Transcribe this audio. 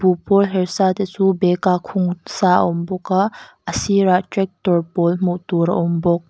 buh pawl hersa te chu bag ah khungsa a awm bawk a a sirah tractor pawl hmuh tur a awm bawk.